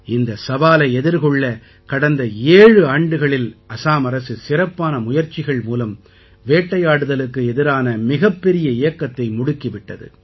இந்தச் சவாலை எதிர்கொள்ள கடந்த ஏழு ஆண்டுகளில் அசாம் அரசு சிறப்பான முயற்சிகள் மூலம் வேட்டையாடுதலுக்கு எதிரான மிகப்பெரிய இயக்கத்தை முடுக்கி விட்டது